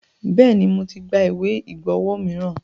Bẹ́ẹ̀ni, mo ti gba ìwé ìgbọ́wo miran.